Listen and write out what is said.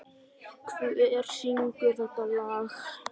Snædís, hver syngur þetta lag?